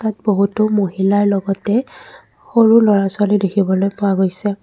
ইয়াত বহুতো মহিলাৰ লগতে সৰু ল'ৰা-ছোৱালী দেখিবলৈ পোৱা গৈছে।